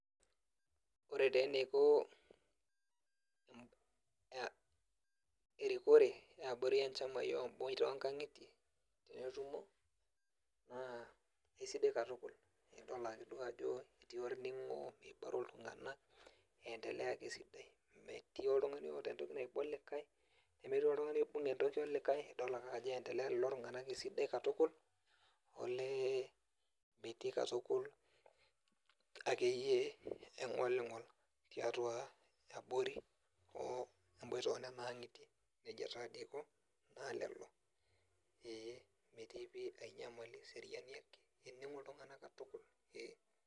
ore taa eneiko aa erikore eabori e nchamai o mbooitie o nkang'itie tenetumo naa eisidai katukul, idol ake duo ajo etii olning'o meibaro iltung'anak eindelea ake esidai, metii oltung'ani oota entoki naiba olikae, nemetii oltung'ani oibung entoki olikae, idol ake ajo eindelea lelo tung'anak esidai katukul olee metii katukul akeyie eng'oling'ol tiatua abori o emboita o nena ang'itie, nejia taadoi eiko naa lelo ee metii pii ae nyamali eseriani ake, ening'o iltung'anak katukul ee.